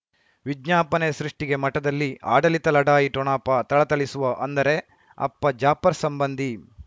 ವಿಜ್ಞಾಪನೆ ಸೃಷ್ಟಿಗೆ ಮಠದಲ್ಲಿ ಆಡಳಿತ ಲಢಾಯಿ ಠೊಣಪ ಥಳಥಳಿಸುವ ಅಂದರೆ ಅಪ್ಪ ಜಾಫರ್ ಸಂಬಂಧಿ